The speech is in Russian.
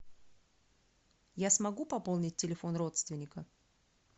я смогу пополнить телефон родственника